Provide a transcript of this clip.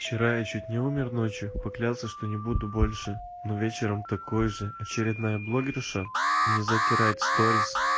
вчера я чуть не умер ночью поклялся что не буду больше но вечером такой же очередная блогерша мне затирает сторис